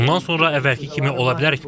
Bundan sonra əvvəlki kimi ola bilərikmi?